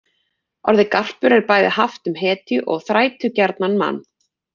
Orðið garpur er bæði haft um hetju og þrætugjarnan mann.